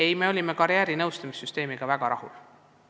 Ei ole, me olime karjäärinõustamise süsteemiga väga rahul.